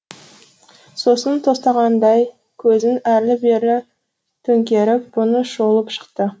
сосын тостағандай көзін әрлі берлі төңкеріп бұны шолып шықты